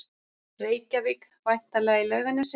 Reykjavík, væntanlega í Laugarnesi.